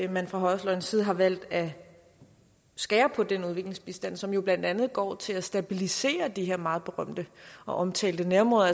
man fra højrefløjens side har valgt at skære på den udviklingsbistand som jo blandt andet går til at stabilisere de her meget berømte og omtalte nærområder